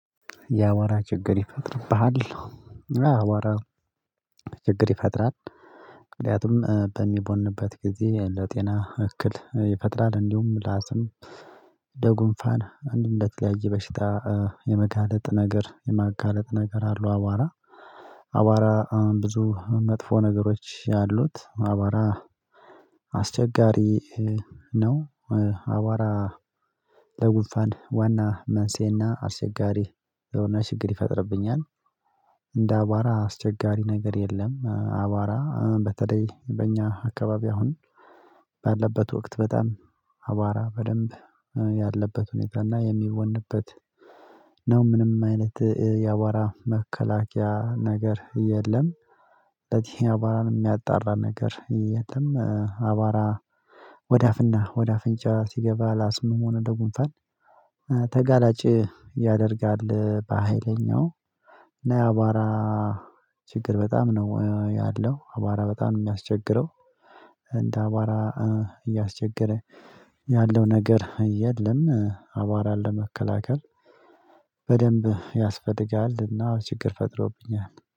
የአቧራ ችግር ይፈጥርብሃል አዎ አቧራ ችግር ይፈጥራል። ምክንያቱም በሚቦንበት ጊዜ ለጤና እክል ይፈጥራል እንዲሁም ለአስም ለጉንፋን አንዲሁም ለተለያየ በሽታ የመጋለጥ ነገር የማጋለጥ ነገር አለው። አቧራ አቧራ ብዙ መጥፎ ነገሮች ያሉት አቧራ አስቸጋሪ ነው። አቧራ ለጉፋን ዋና መንስኤና አስቸጋሪ የሆነ ችግር ይፈጥርብኛል። እንደ አቧራ አስቸጋሪ ነገር የለም። አቧራ በተለይ በእኛ አካባቢ አሁን ባለበት ወቅት በጣም አቧራ በደንብ ያለበት ሁኔታ እና የሚቦንበት ነው። ምንም አይነት የአቧራ መከላከያ ነገር የለም። ስለዚህ አቧራን የሚያጣራ ነገር የትም አቧራ ወደ አፍና ወደ አፍንጫ ሲገባ ለአስምም ሆነ ለጉንፋን ተጋላጭ ያደርጋል። በሃይለኛው እና የአቧራ ችግር በጣም ነው ያለው አቧራ በጣም የሚያስቸግረው እንደ አቧራ እያስቸገረ ያለው ነገር የለም። አቧራን ለመከላከል በደንብ ያስፈልጋልና ችግር ፈጥሮብኛል